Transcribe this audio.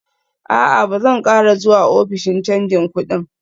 A'a, Ba zan ƙara zuwa ofishin canji kudin